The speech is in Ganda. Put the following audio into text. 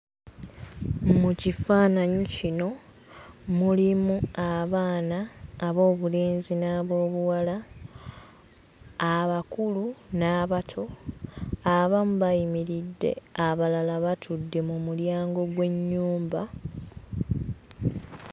Mu kifaananyi kino mulimu abaana ab'obulenzi n'ab'obuwala, abakulu n'abato. Abamu bayimiridde, abalala batudde mu mulyango gw'ennyumba.